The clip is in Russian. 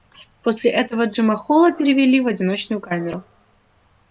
после этого джима холла перевели в одиночную камеру